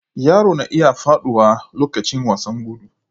Yaro na iya faɗuwa lokacin wasan gudu.